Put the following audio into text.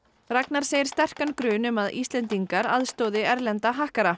Ragnar segir sterkan grun um að Íslendingar aðstoði erlenda